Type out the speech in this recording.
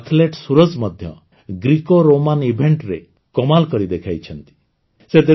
ଆମ ଆଥଲେଟ୍ ସୁରଜ ମଧ୍ୟ ଗ୍ରେକୋରୋମାନ Eventରେ କମାଲ୍ କରି ଦେଖେଇଛନ୍ତି